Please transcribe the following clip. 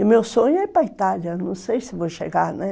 E meu sonho é ir para a Itália, não sei se vou chegar, né?